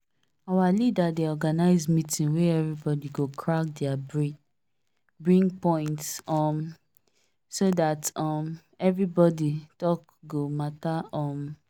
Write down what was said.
our leader dey organise meeting wey everybody go crack their brain bring points um so that um everybody talk go matter um